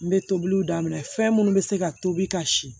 N bɛ tobiliw daminɛ fɛn munnu be se ka tobi ka si